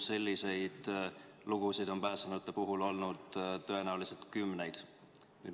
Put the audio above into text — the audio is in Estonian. Selliseid lugusid on pääsenute puhul olnud tõenäoliselt kümneid.